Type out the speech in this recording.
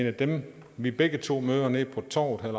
af dem vi begge to møder nede på torvet herre